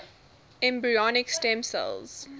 embryonic stem cell